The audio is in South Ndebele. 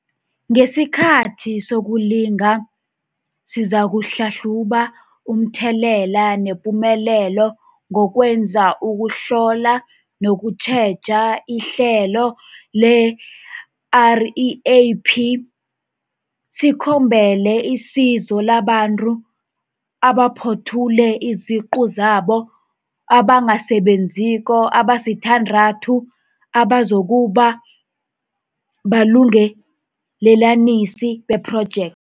Ngesikhathi sokulinga, sizakuhlahluba umthelela nepumelelo ngokwenza ukuhlola nokutjheja ihlelo le-REAP. Sikhombele isizo labantu abaphothule iziqu zabo abangasebenziko abasithandathu abazokuba baLungelelanisi bePhrojekthi.